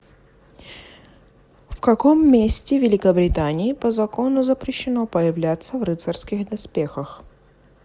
в каком месте великобритании по закону запрещено появляться в рыцарских доспехах